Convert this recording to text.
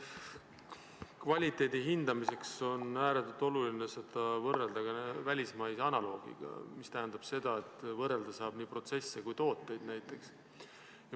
Kvaliteedi hindamiseks on ääretult oluline võrrelda välismaise analoogiga, mis tähendab, et võrrelda saab näiteks nii protsesse kui ka tooteid.